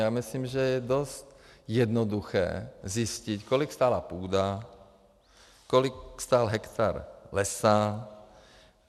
Já myslím, že je dost jednoduché zjistit, kolik stála půda, kolik stál hektar lesa.